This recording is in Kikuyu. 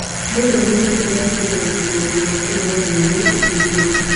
Mũndũ amenye ũrĩa ekũiganania maũndũ ma kũnogora mwĩrĩ na kũhurũka